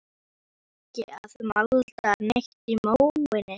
Var samt ekki að malda neitt í móinn.